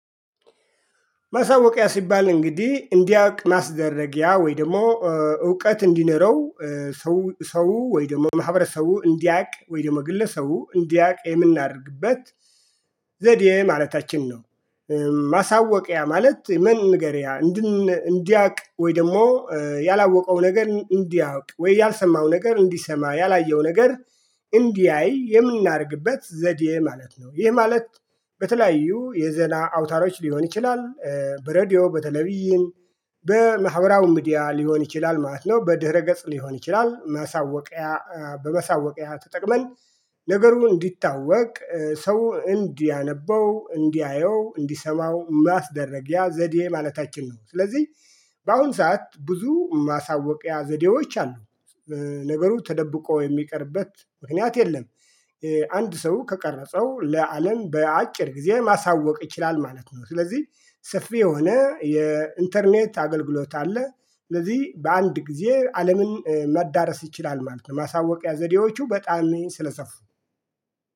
ማሳወቂያ ሲባል እንግዲህ እንዲያውቅ ማስደረጊያ ወይ ደግሞ እውቀት እንዲኖረው ሰው ሰው ወይ ደግሞ ማህበረሰቡ እንዲያውቅ ወይ ደግሞ ግለሰው እንዲያውቅ የምናደርግበት ዘዴ ማለታችን ነው። ማሳወቂያ ማለት መንገሪያ። እንዲያውቅ ወይ ደግሞ ያላወቀው ነገር እንዲያውቅ ወይ ያልሰማው ነገር እንዲሰማ ያላየው ነገር እንዲያይ የምናደርግበት ዘዴ ማለት ነው። ይህ ማለት በተለያዩ የዜና አውታሮች ሊሆን ይችላል። በሬዲዮ በተለይም በማህበራዊ ሚዲያ ሊሆን ይችላል ማለት ነው። በድህረ ገጽ ሊሆን ይችላል። ማሳወቂያ በመሳወቂያ ተጠቅመን ነገሩ እንዲታወቅ ሰው እንዲያነበው እንዲያየው እንዲሰማው ማስደረጊያ ዘዴ ማለታችን ነው። ስለዚህ በአሁን ሰዓት ብዙ ማሳወቂያ ዘዴዎች አሉ። ነገሩ ተደብቆ የሚቀርበት ምክንያት የለም። አንድ ሰው ከቀረፀው ለአለም በአጭር ጊዜ ማሳወቅ ይችላል ማለት ነው። ስለዚህ ሰፊ የሆነ የኢንተርኔት አገልግሎት አለ። ስለዚህ በአንድ ጊዜ አለምን መዳረስ ይችላል ማለት ነው። ማሳወቂያ ዘዴዎቹ በጣም ስለሰፉ